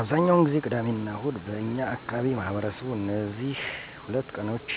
አብዛኛውን ጊዜ ቅዳሚና እሁድ በእኛ አካባቢ ማህበረሰቡ እነዚህ ሁለት ቀኖች